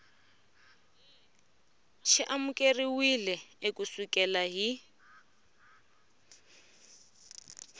xi amukeriwile ku sukela hi